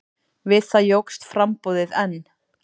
Við það jókst framboðið enn.